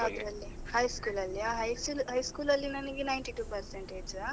ಯಾವುದ್ರಲ್ಲಿ high school ಅಲ್ಲಿಯಾ, high school ಅಲ್ಲಿ ನನ್ಗೆ ninety two percentage.